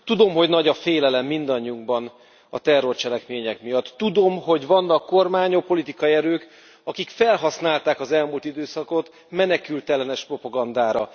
Tudom, hogy nagy a félelem mindannyiunkban a terrorcselekmények miatt. Tudom, hogy vannak kormányok, politikai erők, akik felhasználták az elmúlt időszakot menekültellenes propagandára.